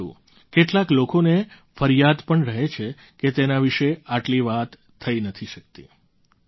પરંતુ કેટલાક લોકોને ફરિયાદ પણ રહે છે કે તેના વિશે આટલી વાત થઈ નથી શકતી